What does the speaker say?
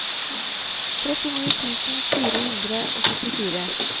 trettini tusen fire hundre og syttifire